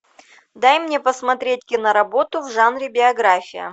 дай мне посмотреть киноработу в жанре биография